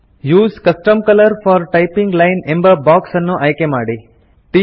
use custom colour for typing line ಎಂಬ box ಅನ್ನು ಆಯ್ಕೆ ಮಾಡಿ